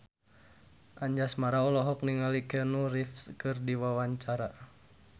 Anjasmara olohok ningali Keanu Reeves keur diwawancara